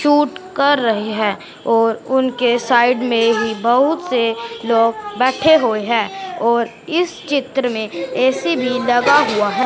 Shoot कर रहे हैं और उनके साइड में ही बहुत से लोग बैठे हुए हैं और इस चित्र में ए_सी भीं लगा हुवा हैं।